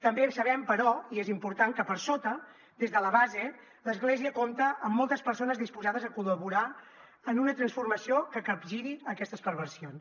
també sabem però i és important que per sota des de la base l’església compta amb moltes persones disposades a col·laborar en una transformació que capgiri aquestes perversions